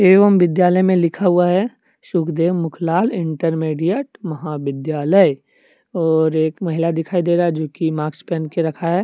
एवं विद्यालय में लिखा हुआ है सुखदेव मुखलाल इंटरमीडिएट महाविद्यालय और एक महिला दिखाई दे रहा है जो कि मास्क पहन के रखा है।